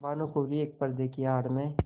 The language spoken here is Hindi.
भानुकुँवरि एक पर्दे की आड़ में